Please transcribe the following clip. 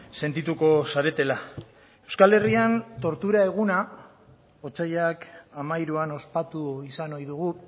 sentituko zaretela euskal herrian tortura eguna otsailak hamairuan ospatu izan ohi dugu